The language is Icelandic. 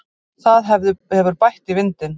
Það hefur bætt í vindinn.